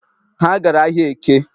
Ha gara ahịa Eke